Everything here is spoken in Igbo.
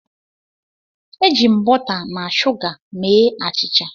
Eji m bọta na shuga mee achịcha.